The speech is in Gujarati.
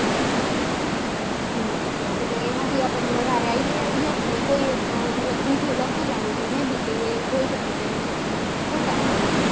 હમ્મ એમાંથી આપણે વધારે idea આવી જાય અને કોઈ briefly લખે લા હોય કે may be કે ખોટા હોય.